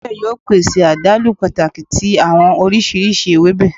Awọn ewebe yoo pese adalu pataki ti awọn oriṣiriṣi ewebe